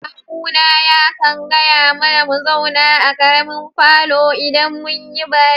Ƙawuna ya ƙan gaya mana mu zauna a ƙaremin falon idan mun yi baki.